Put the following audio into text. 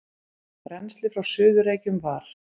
Rennslið frá Suður-Reykjum var